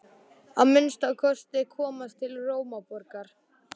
Að minnsta kosti komast til Rómaborgar.